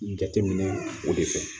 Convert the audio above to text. Jateminɛ o de fɛ